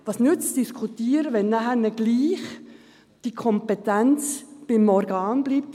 Was nützt es zu diskutieren, wenn nachher trotzdem die Kompetenz bei dem Organ bleibt?